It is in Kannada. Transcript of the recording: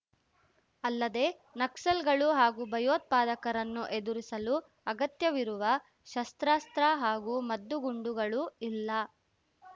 ಅಲ್ಲದೆ ನಕ್ಸಲ್‌ಗಳು ಹಾಗೂ ಭಯೋತ್ಪಾದಕರನ್ನು ಎದುರಿಸಲು ಅಗತ್ಯವಿರುವ ಶಸ್ತ್ರಾಸ್ತ್ರ ಹಾಗೂ ಮದ್ದುಗುಂಡುಗಳು ಇಲ್ಲ